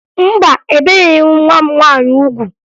Mba, ebeghi m nwa m nwaanyị ugwu